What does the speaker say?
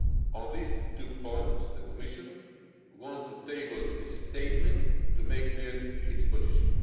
On these two points the Commission wants to table a statement to make clear its position.